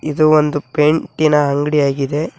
ಇದು ಒಂದು ಪೈಂಟ್ ಇನ ಅಂಗಡಿಯಾಗಿದೆ.